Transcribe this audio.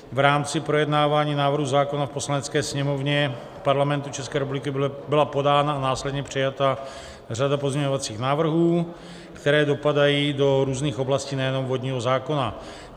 V rámci projednávání návrhu zákona v Poslanecké sněmovně Parlamentu České republiky byla podána a následně přijata řada pozměňovacích návrhů, které dopadají do různých oblastí, nejenom vodního zákona.